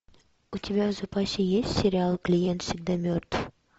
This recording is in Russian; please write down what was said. у тебя в запасе есть сериал клиент всегда мертв